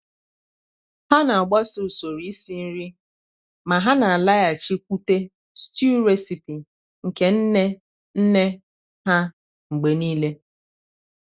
há nà-àgbásò usoro ísí nri mà há nà-álághàchíkwùtè stew recipe nke nnè nnè há mgbe nìile.